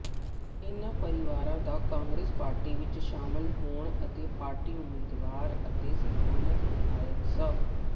ਇਨ੍ਹਾ ਪਰਿਵਾਰਾਂ ਦਾ ਕਾਂਗਰਸ ਪਾਰਟੀ ਵਿੱਚ ਸ਼ਾਮਿਲ ਹੋਣ ਤੇ ਪਾਰਟੀ ਉਮੀਦਵਾਰ ਅਤੇ ਸਥਾਨਕ ਵਿਧਾਇਕ ਸ